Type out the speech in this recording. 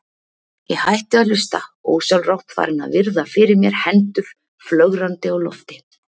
Ég hætti að hlusta, ósjálfrátt farin að virða fyrir mér hendur flögrandi á lofti.